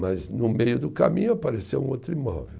Mas no meio do caminho apareceu um outro imóvel.